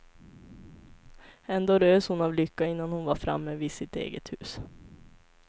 Ändå rös hon av lycka innan hon var framme vid sitt eget hus.